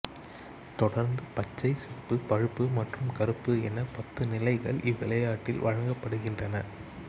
தொடர்ந்து பச்சை சிவப்பு பழுப்பு மற்றும் கருப்பு என பத்து நிலைகள் இவ்விளையாட்டில் வழங்கப்படுகின்றன